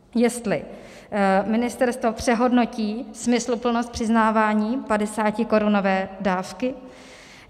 Jestli ministerstvo přehodnotí smysluplnost přiznávání 50korunové dávky.